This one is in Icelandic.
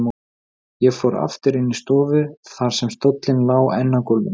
Ég fór aftur inn í stofu þar sem stóllinn lá enn á gólfinu.